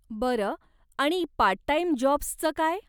बरं, आणि part time जाॅब्सचं काय?